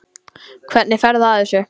Hvernig ferðu að þessu?